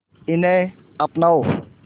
इन्हें अपनाओ